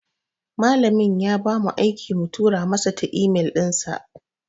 Malamin ya bamu aiki mu tura masa ta imel dinsa.